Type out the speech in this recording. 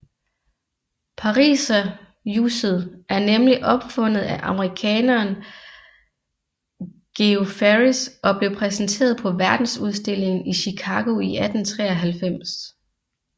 Pariserhjuset er nemlig opfundet af amerikaneren George Ferris og blev præsenteret på Verdensudstillingen i Chicago 1893